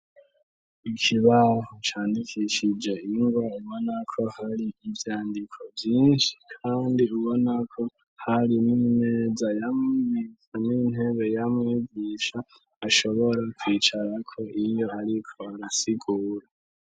Ikibaho candikishije inwa ubonako hari ivyandiko vyinshi, kandi ubonako hari moumeza yamiza n'intebe yamwigisha ashobora kwicarako inye, ariko arasigura.